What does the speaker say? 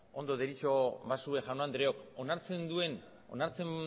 ondo baderitzozue jaun andreok onartzen